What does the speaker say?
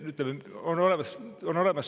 No neid tekib minimaalselt.